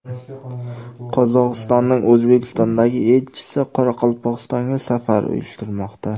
Qozog‘istonning O‘zbekistondagi elchisi Qoraqalpog‘istonga safar uyushtirmoqda.